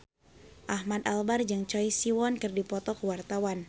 Ahmad Albar jeung Choi Siwon keur dipoto ku wartawan